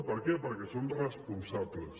per què perquè són responsables